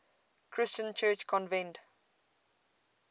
christian church convened